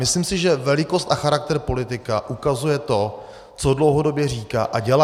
Myslím si, že velikost a charakter politika ukazuje to, co dlouhodobě říká a dělá.